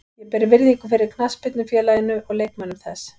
Ég ber virðingu fyrir knattspyrnufélaginu og leikmönnum þess.